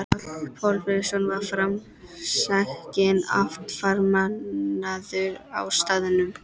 Páll Þorleifsson var framsækinn athafnamaður á staðnum.